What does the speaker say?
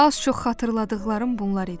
Az-çox xatırladıqlarım bunlar idi.